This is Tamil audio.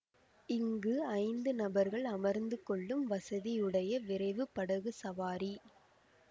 இங்கு ஐந்து நபர்கள் அமர்ந்து கொள்ளும் வசதியுடைய விரைவு படகு சவாரி